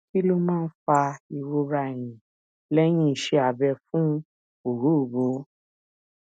kí ló máa ń fa ìrora ẹyìn lehin iṣẹ abẹ fún ọrooro